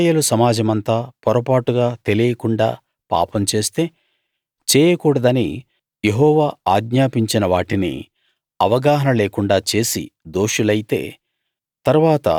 ఇశ్రాయేలు సమాజమంతా పొరపాటుగా తెలియకుండా పాపం చేస్తే చేయకూడదని యెహోవా ఆజ్ఞాపించిన వాటిని అవగాహన లేకుండా చేసి దోషులైతే